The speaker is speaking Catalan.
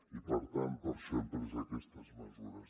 i per tant per això hem pres aquestes mesures